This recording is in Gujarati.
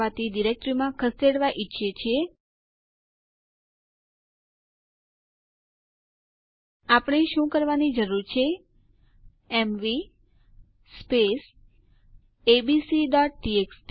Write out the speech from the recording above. ગ્રુપ યુઝર ની ઓળખ વિશે જાણવા માટે ઇડ સ્પેસ g છે